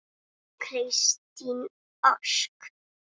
Kristín Ósk.